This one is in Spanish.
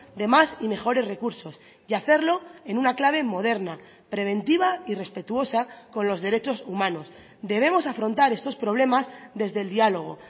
de más y mejores recursos y hacerlo en una clave moderna preventiva y respetuosa con los derechos humanos debemos afrontar estos problemas desde el diálogo